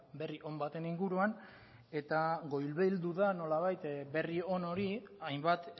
berri on baten inguruan eta goibeldu da nolabait berri on hori hainbat